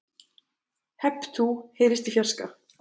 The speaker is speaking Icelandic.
Hep tú heyrist í fjarska.